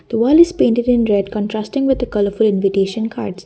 the wall is painted in red contrasting with colourful invitation cards.